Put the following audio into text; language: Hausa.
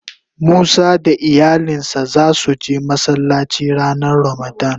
Musa da iyalin sa za su je Masallaci ranan ramadan.